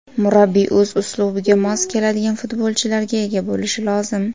Murabbiy o‘z uslubiga mos keladigan futbolchilarga ega bo‘lishi lozim.